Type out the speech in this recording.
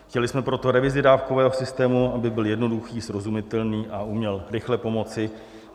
Chtěli jsme proto revizi dávkového systému, aby byl jednoduchý, srozumitelný a uměl rychle pomoci.